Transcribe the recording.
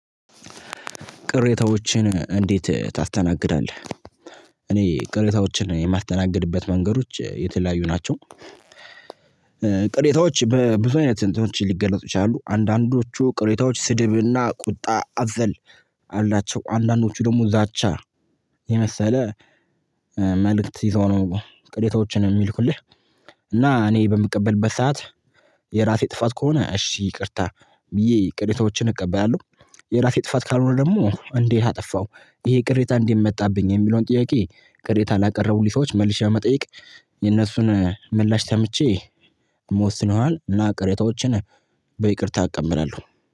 ቅሬታዎችን እንዴት ታስተናግዳለህ? እኔ ቅሬታዎችን የማስተናግድበት መንገዶች የተለያዩ ናቸው። ቅሬታዎች በብዙ አይነት እንትኖች ሊገለጹ ይችላሉ። አንዳንዶቹ ቅሬታዎች ስድብና ቁጣ አዘል አላቸው አንዳንዶቹ ደግሞ ዛቻ የመሰለ መልእክት ይዞው ነው። ቅሬታዎችን እሚልኩልህ እና እኔ በምቀበልበት ሰዓት የራሴ ጥፋት ከሆነ እሺ ይቅርታ ብዬ ቅሬታዎችን እቀበላለሁ። የራሴ ጥፋት ካልሆነ ደግሞ እንዴት አጠፋው ይሄ ቅሬታ እንዴት መጣብኝ የሚለውን ጥያቄ ቅሬታ ላቀረቡልኝ ሰዎች መልሼ በመጠየቅ። የነሱን ምላሽ ሰምቼ እም ወስን ይሆናል። እና ቅሬታዎችን በይቅርታ እቀበላለሁ